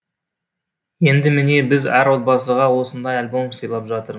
енді міне біз әр отбасыға осындай альбом сыйлап жатыр